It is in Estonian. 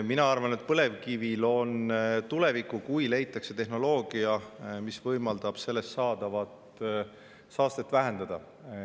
Ma arvan, et põlevkivil on tulevik, kui leitakse tehnoloogia, mis võimaldab selle saastet vähendada.